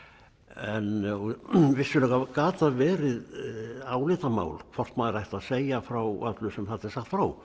en vissulega gat það verið álitamál hvort maður ætti að segja frá öllu sem þarna er sagt frá